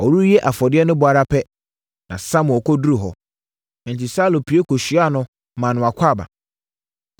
Ɔrewie afɔdeɛ no bɔ ara pɛ, na Samuel kɔduruu hɔ. Enti, Saulo pue kɔhyiaa no maa no akwaaba.